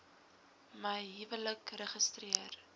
my huwelik registreer